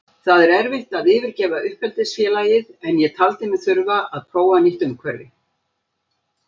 Það er erfitt að yfirgefa uppeldisfélagið en ég taldi mig þurfa að prófa nýtt umhverfi.